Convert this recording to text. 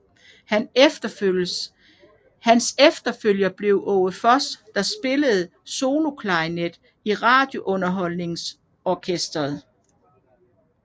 Hans efterfølger blev Aage Voss der spillede soloklarinet i Radiounderholdningsorkestret